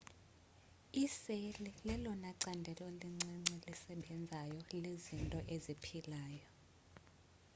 iseli lelona candelo lincinci lisebenzayo lezinto eziphilayo